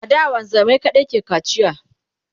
a da wanzamai kaɗai ke kacia